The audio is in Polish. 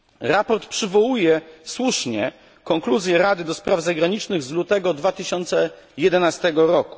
Raport przywołuje słusznie konkluzje Rady do spraw zagranicznych z lutego 2011 r.